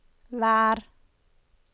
vær